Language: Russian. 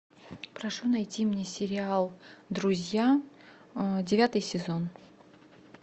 прошу найти мне сериал друзья девятый сезон